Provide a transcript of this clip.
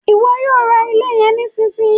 Iwọ yóò rá ilé yẹn nisinyi!